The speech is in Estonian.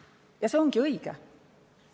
Ja see ongi õige.